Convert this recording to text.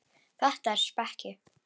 Þetta er speki.